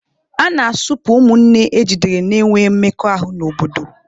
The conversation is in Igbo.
A na-asụpụ ụmụnne ejidere na-enwe mmekọahụ n'obodo.